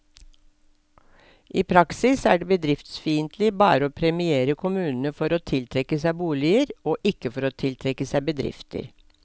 I praksis er det bedriftsfiendtlig bare å premiere kommunene for å tiltrekke seg boliger, og ikke for å tiltrekke seg bedrifter.